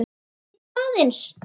Bíddu aðeins!